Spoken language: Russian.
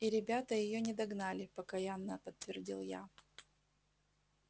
и ребята её не догнали покаянно подтвердил я